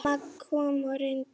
Mamma kom og reyndi.